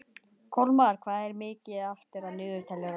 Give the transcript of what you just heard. Kolmar, hvað er mikið eftir af niðurteljaranum?